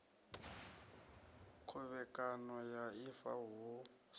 khovhekano ya ifa hu si